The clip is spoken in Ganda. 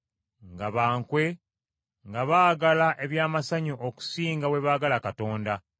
nga ba nkwe, nga baagala eby’amasanyu okusinga bwe baagala Katonda;